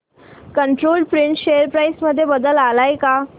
control print share price मध्ये बदल आलाय का